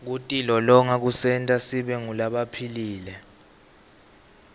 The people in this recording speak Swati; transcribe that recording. kutilolonga kusenta sibe ngulabaphilile